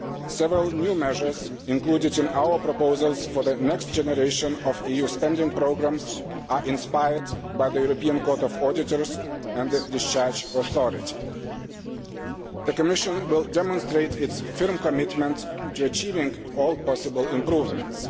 Several new measures included in our proposals for the next generation of EU spending programmes were inspired by the European Court of Auditors and the discharge authority. The Commission will demonstrate its firm commitment to achieving all possible improvements.